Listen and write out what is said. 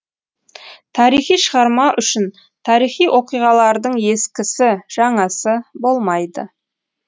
тарихи шығарма үшін тарихи оқиғалардың ескісі жаңасы болмайды